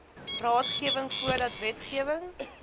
raadgewing voordat wetgewing